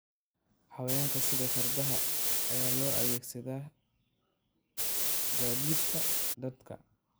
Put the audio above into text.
Xayawaanka sida fardaha ayaa loo adeegsadaa gaadiidka dadka.